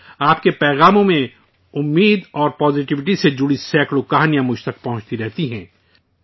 آپ کے پیغامات میں امید اور پوزیٹیویٹی سے جڑی سینکڑوں کہانیاں مجھ تک پہنچتی رہتی ہیں